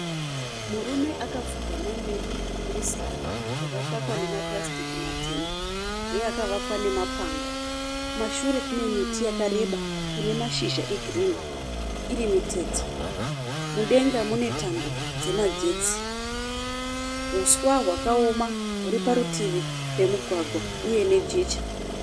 Murume akapfugama mberi kwemusika wakakakwa nemapurasitiki matema uye wakavakwa nemapango. Kumashure kune miti yakareba ine mashizha egirinhi iri mitete. Mudenga mune tambo dzemagetsi. Huswa hwakaoma huri parutivi pemugwagwa uye nejecha.